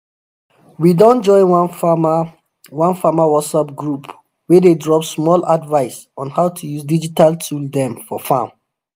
we don join one farmer one farmer whatsapp group wey dey drop small advice on how to use digital tool dem for farm.